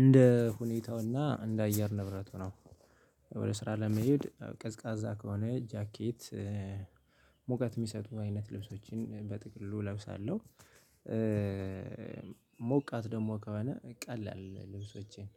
እንደ ሁኔታውና እንደ አየር ንብረቱ ነው። ወደ ስራ ለመሄድ ቀዝቃዛ ከሆነ ጃኬት ሙቀት የሚሰጡ አይነት ልብሶችን በጥቅሉ እለብሳለሁ። ሞቃት ደግሞ ከሆነ ቀላል ልብሶቼን